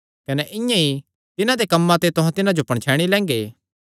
कने इआं ई तिन्हां दे कम्मां ते तुहां तिन्हां जो पणछैणी लैंगे